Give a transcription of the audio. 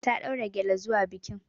Ta ɗaura gyale zuwa bikin.